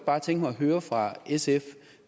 godt tænke mig at høre fra sf